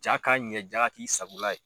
Jaa ka ɲɛ jaa ka k'i sagola ye.